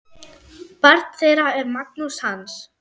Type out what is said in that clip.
Barn þeirra er Magnús Hans.